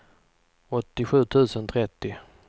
åttiosju tusen trettio